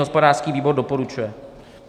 Hospodářský výbor doporučuje.